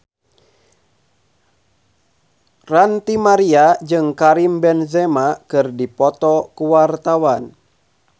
Ranty Maria jeung Karim Benzema keur dipoto ku wartawan